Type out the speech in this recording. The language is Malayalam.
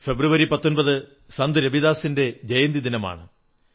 ഫെബ്രുവരി 19 സന്ത് രവിദാസിന്റെ ജയന്തിദിനമാണ്